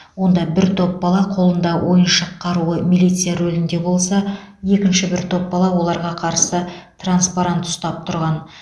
онда бір топ бала қолында ойыншық қаруы милиция рөлінде болса екінші бір топ бала оларға қарсы транспарант ұстап тұрған